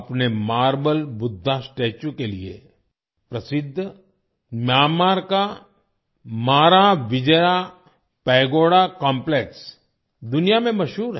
अपने marble Buddha statue के लिए प्रसिद्ध म्यानमार का माराविजया पैगोडा कॉम्प्लेक्स दुनिया में मशहूर है